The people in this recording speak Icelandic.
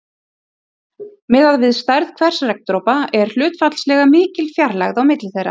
Miðað við stærð hvers regndropa er hlutfallslega mikil fjarlægð á milli þeirra.